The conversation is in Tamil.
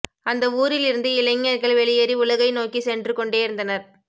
அந்த ஊரில் இருந்து இளைஞர்கள் வெளியேறி உலகை நோக்கி சென்றுகொண்டே இருந்தனர்